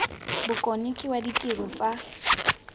bokone ke wa ditiro tsa